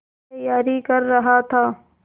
तैयारी कर रहा था